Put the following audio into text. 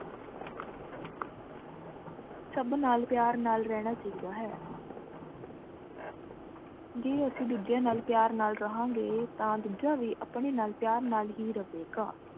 ਸਬ ਨਾਲ ਪਯਾਰ ਨਾਲ ਰਹਨਾ ਚਾਹੀ ਦਾ ਹੈ ਜੇ ਅੱਸੀ ਦੋਜ੍ਯਾ ਨਾਲ ਪਯਾਰ ਨਾਲ ਰਹਾ ਗੀ ਤਾਂ ਦੂਜਾ ਵ ਆਪਾਂ ਨਾਲ ਪਯਾਰ ਹੇ ਰਹੁ ਗਾ